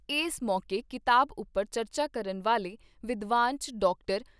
ਏਸ ਮੌਕੇ ਕਿਤਾਬ ਉਪਰ ਚਰਚਾ ਕਰਨ ਵਾਲੇ ਵਿਦਵਾਨਾਂ 'ਚ ਡਾਕਟਰ